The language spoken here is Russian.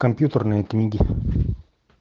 компьютерные книги